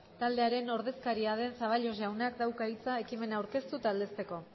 taldearen ordezkaria den zaballos jaunak dauka hitza ekimena aurkeztu eta aldezteko